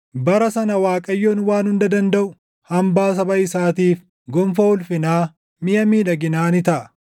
Bara sana Waaqayyoon Waan Hunda Dandaʼu hambaa saba isaatiif, gonfoo ulfinaa, miʼa miidhaginaa ni taʼa.